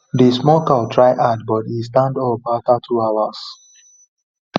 the small cow try hard but e stand up after two hours